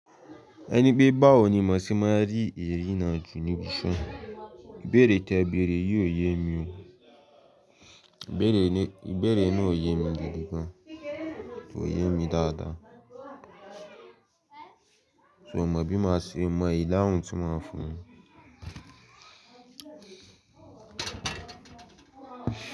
Ẹni pé bá ò ní máṣe máa rí eré náà ju ni bisọ́. Ìbéèrè tí ẹ béèrè yìí ò yé mi o. Ìbéèrè náà ò yé mi gbígbá, kò yé mi dáadáa. Mio mọ bi mas se. Mio mọ ìdáhùn ti maa fún.